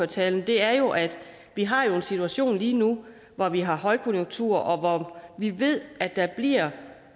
tale er jo at vi har en situation lige nu hvor vi har højkonjunktur og hvor vi ved at der bliver et